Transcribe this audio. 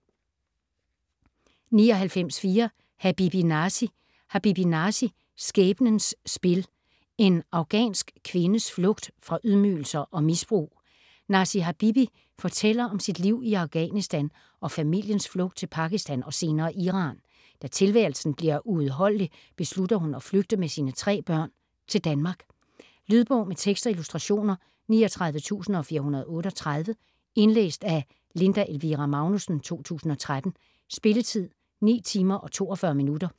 99.4 Habibi, Nasi Habibi, Nasi: Skæbnens spil: En afghansk kvindes flugt fra ydmygelser og misbrug Nasi Habibi fortæller om sit liv i Afghanistan og familiens flugt til Pakistan og senere Iran. Da tilværelsen bliver uudholdelig beslutter hun at flygte med sine tre børn til Danmark. Lydbog med tekst og illustrationer 39438 Indlæst af Linda Elvira Magnussen, 2013. Spilletid: 9 timer, 42 minutter.